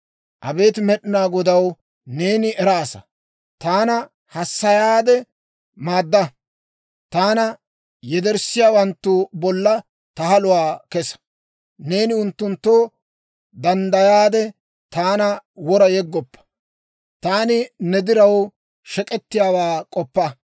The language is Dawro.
Abeet Med'inaa Godaw, neeni eraasa. Taana hassayaade maadda; taana yederssiyaawanttu bolla ta haluwaa kessa. Neeni unttunttoo danddayaade, taana wora yeggoppa. Taani ne diraw shek'ettiyaawaa k'oppa.